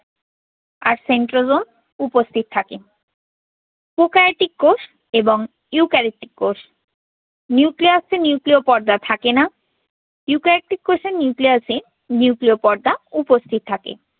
আর centrosome উপস্থিত থাকে। prokaryotic কোষ এবং eukaryotic কোষ। nucleus এ nucleu পর্দা থাকে না। eukaryotic কোষে nucleusnucleu পর্দা উপস্থিত থাকে।